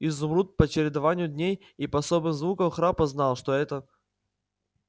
изумруд по чередованию дней и по особым звукам храпа знал что это